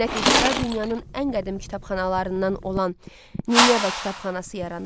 Nəticədə dünyanın ən qədim kitabxanalarından olan Nineva kitabxanası yaranır.